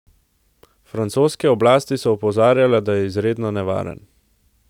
Francoske oblasti so opozarjale, da je izredno nevaren.